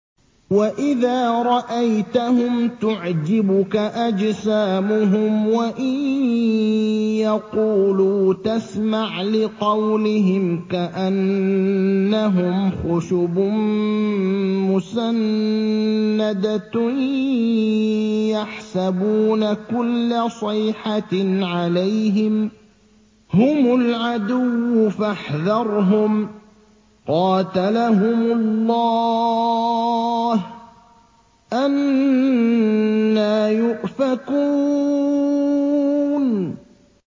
۞ وَإِذَا رَأَيْتَهُمْ تُعْجِبُكَ أَجْسَامُهُمْ ۖ وَإِن يَقُولُوا تَسْمَعْ لِقَوْلِهِمْ ۖ كَأَنَّهُمْ خُشُبٌ مُّسَنَّدَةٌ ۖ يَحْسَبُونَ كُلَّ صَيْحَةٍ عَلَيْهِمْ ۚ هُمُ الْعَدُوُّ فَاحْذَرْهُمْ ۚ قَاتَلَهُمُ اللَّهُ ۖ أَنَّىٰ يُؤْفَكُونَ